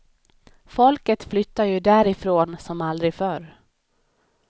Folket flyttar ju därifrån som aldrig förr.